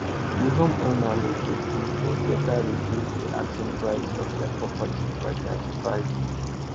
di homeowner no too gree but later reduce di asking price of dia property by 35